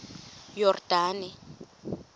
yordane